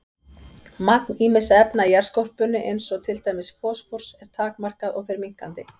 Magn ýmissa efna í jarðskorpunni eins og til dæmis fosfórs er takmarkað og fer minnkandi.